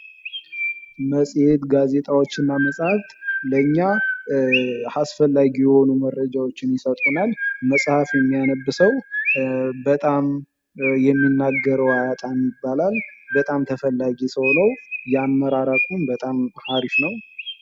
መጽሄት ጋዜጣዎች እና መጽሃፍት ለኛ አስፈላጊ የሆኑ መረጃዎችን ይሰጡናል። መጽሐፍ የሚያነብ ሰው በጣም የሚናገረው አያጣም ይባላል። በጣም ተፈላጊ ሰው ነው። የአመራር አቅሙም በጣም አሪፍ ነው።